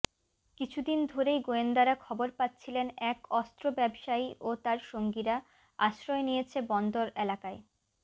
কিছুদিন ধরেই গোয়েন্দারা খবর পাচ্ছিলেন এক অস্ত্র ব্যবসায়ী ও তার সঙ্গীরা আশ্রয় নিয়েছে বন্দর এলাকার